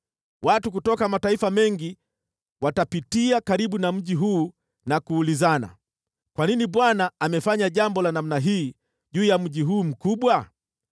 “Watu kutoka mataifa mengi watapitia karibu na mji huu na kuulizana, ‘Kwa nini Bwana amefanya jambo la namna hii juu ya mji huu mkubwa?’